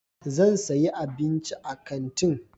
Zan sayi abinci a kantin.